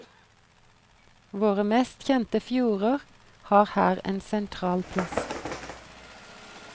Våre mest kjente fjorder har her en sentral plass.